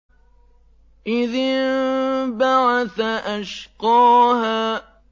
إِذِ انبَعَثَ أَشْقَاهَا